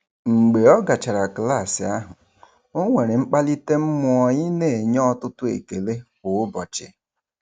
Mgbe ọ gachara klaasị ahụ, o nwere mkpalite mmụọ ị na-enye ọtụtụ ekele kwa ụbọchị.